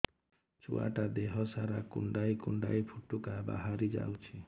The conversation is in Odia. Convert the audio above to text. ଛୁଆ ଟା ଦେହ ସାରା କୁଣ୍ଡାଇ କୁଣ୍ଡାଇ ପୁଟୁକା ବାହାରି ଯାଉଛି